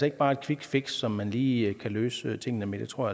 ikke bare et quickfix som man lige kan løse tingene med det tror